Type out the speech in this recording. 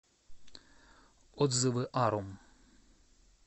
отзывы арум